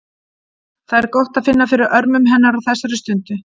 Það er gott að finna fyrir örmum hennar á þessari stundu.